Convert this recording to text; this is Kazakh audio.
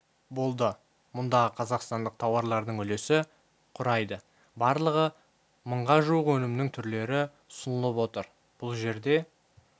болды мұндағы қазақстандық тауарлардың үлесі құрайды барлығы мыңға жуық өнімнің түрлері ұсынылып отыр бұл жерде